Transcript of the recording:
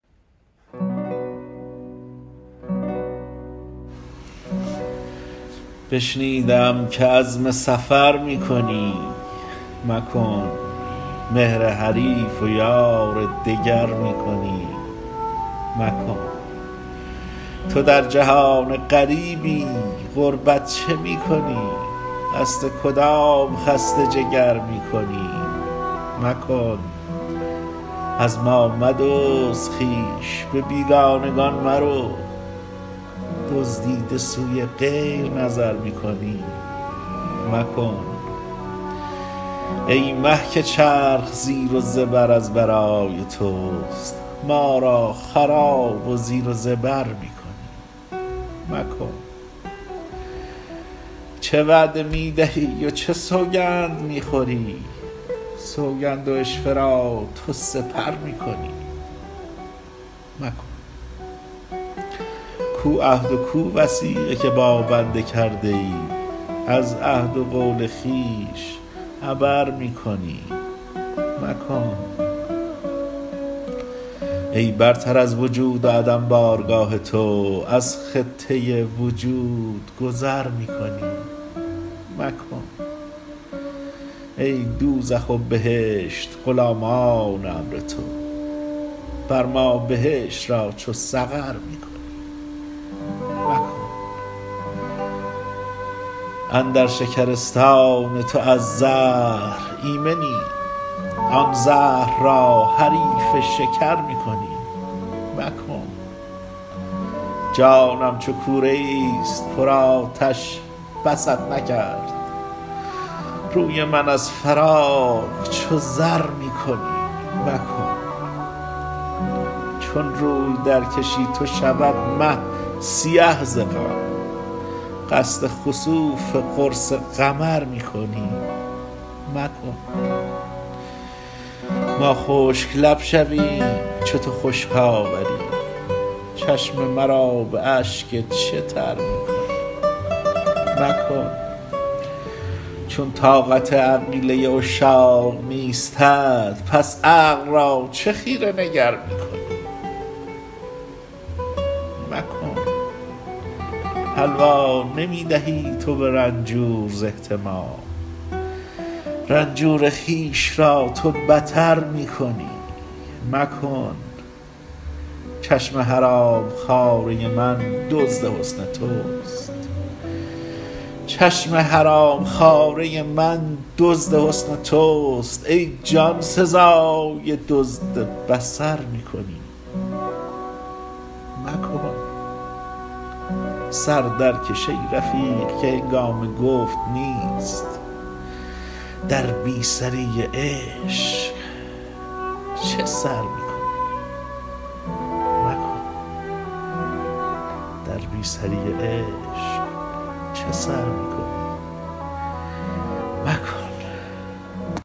بشنیده ام که عزم سفر می کنی مکن مهر حریف و یار دگر می کنی مکن تو در جهان غریبی غربت چه می کنی قصد کدام خسته جگر می کنی مکن از ما مدزد خویش به بیگانگان مرو دزدیده سوی غیر نظر می کنی مکن ای مه که چرخ زیر و زبر از برای توست ما را خراب و زیر و زبر می کنی مکن چه وعده می دهی و چه سوگند می خوری سوگند و عشوه را تو سپر می کنی مکن کو عهد و کو وثیقه که با بنده کرده ای از عهد و قول خویش عبر می کنی مکن ای برتر از وجود و عدم بارگاه تو از خطه وجود گذر می کنی مکن ای دوزخ و بهشت غلامان امر تو بر ما بهشت را چو سقر می کنی مکن اندر شکرستان تو از زهر ایمنیم آن زهر را حریف شکر می کنی مکن جانم چو کوره ای است پرآتش بست نکرد روی من از فراق چو زر می کنی مکن چون روی درکشی تو شود مه سیه ز غم قصد خسوف قرص قمر می کنی مکن ما خشک لب شویم چو تو خشک آوری چشم مرا به اشک چه تر می کنی مکن چون طاقت عقیله عشاق نیستت پس عقل را چه خیره نگر می کنی مکن حلوا نمی دهی تو به رنجور ز احتما رنجور خویش را تو بتر می کنی مکن چشم حرام خواره من دزد حسن توست ای جان سزای دزد بصر می کنی مکن سر درکش ای رفیق که هنگام گفت نیست در بی سری عشق چه سر می کنی مکن